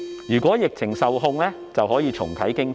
如果疫情受控，便可以重啟經濟。